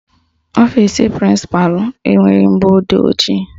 Ọfisi prịnsịpalụ enweghị mgbọodee ojii